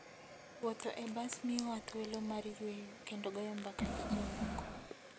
Wuotho e bas miyowa thuolo mar yueyo kendo goyo mbaka gi jomoko.